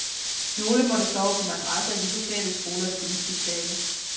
Nogle måtte sove på madrasser i de lokale skolers gymnastiksale.